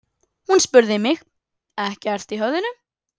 Hún spurði mig: ekkert í höfðinu?